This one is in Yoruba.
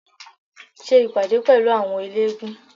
Ṣe ìpàdé pẹ̀lú àwọn eléégún